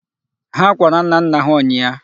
Ha kwara nnanna ha ụnyịa.